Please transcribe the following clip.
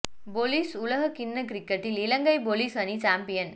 police உலகக் கிண்ணக் கிரிக்கெட்டில் இலங்கை பொலிஸ் அணி சம்பியன்